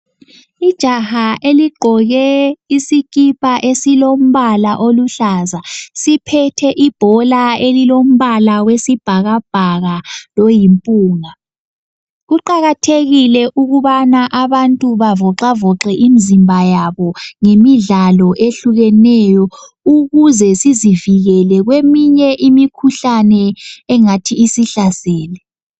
Ijaha eligqoke isikipa esilombala oluhlaza, siphethe ibhola elilombala wesibhakabhaka loyimpunga. Kuqakathekile ukubana abantu bavoxavoxe imizimba yabo ngemidlalo ehlukeneyo ukuze sizivikele kweminye imikhuhlane engathi isihlasele.